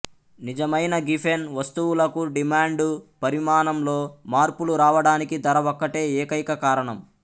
నిజమైన గిఫెన్ వస్తువులకు డిమాండు పరిమాణంలో మార్పులు రావడానికి ధర ఒక్కటే ఏకైక కారణం